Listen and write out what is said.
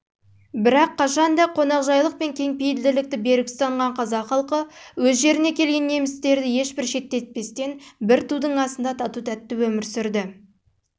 бірақ қашанда қонақжайлық пен кеңпейілділікті берік ұстанған қазақ халқы өз жеріне келген немістерді ешбір шеттетпестен бір тудың